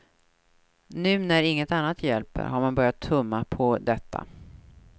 Nu, när inget annat hjälper, har man börjat tumma på detta.